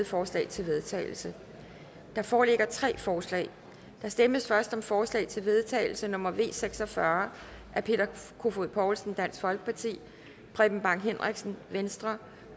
forslag til vedtagelse der foreligger tre forslag der stemmes først om forslag til vedtagelse nummer v seks og fyrre af peter kofod poulsen preben bang henriksen